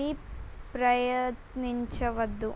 ని ప్రయత్నించవద్దు